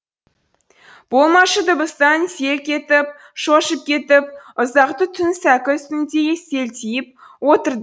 болмашы дыбыстан селк етіп шошып кетіп ұзақты түн сәкі үстінде селтиіп отырды